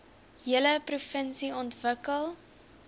hele provinsie ontwikkel